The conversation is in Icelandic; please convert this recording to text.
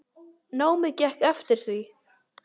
Námið gekk eftir því.